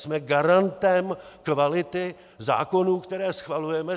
Jsme garantem kvality zákonů, které schvalujeme.